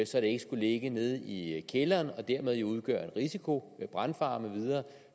så det ikke skulle ligge nede i kælderen og dermed udgøre en risiko med brandfare med videre